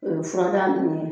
Furadaa ninnu ye